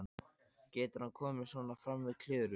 Getur hann komið svona fram við Klöru?